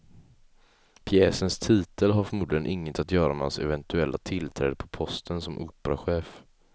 Pjäsens titel har förmodligen inget att göra med hans eventuella tillträde på posten som operachef.